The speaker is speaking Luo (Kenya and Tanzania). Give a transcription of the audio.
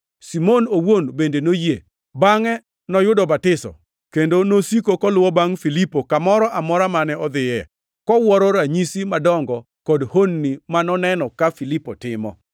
Simon owuon bende noyie, bangʼe noyudo batiso, kendo nosiko koluwo bangʼ Filipo kamoro amora mane odhiye, kowuoro ranyisi madongo kod honni ma noneno ka Filipo timo.